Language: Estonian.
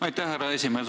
Aitäh, härra esimees!